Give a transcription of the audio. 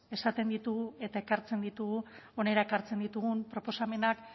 esaten ditugu eta ekartzen ditugu hona ekartzen ditugu proposamenak